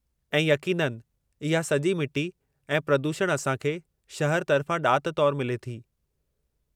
ऐं यक़ीननि, इहा सॼी मिटी ऐं प्रदूषणु असां खे शहरु तर्फ़ां ॾात तौरु मिले थी।